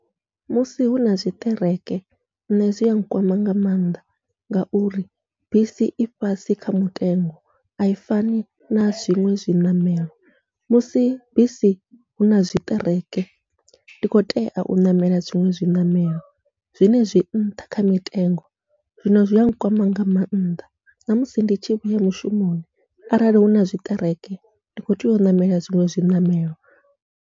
Musi huna zwiṱereke nṋe zwia nkwama nga mannḓa, ngauri bisi i fhasi kha mutengo ai fani na zwiṅwe zwiṋamelo musi bisi huna zwiṱereke ndi khou tea u ṋamela zwiṅwe zwi ṋamelo, zwine zwi nṱha kha mitengo. Zwino zwia nkwama nga maanḓa, namusi ndi tshi vhuya mushumoni arali huna zwiṱereke ndi kho tea u ṋamela zwiṅwe zwiṋamelo.